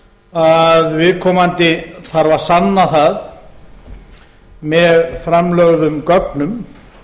að viðkomandi þarf að sanna það með framlögðum gögnum